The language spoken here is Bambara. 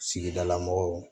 Sigidala mɔgɔw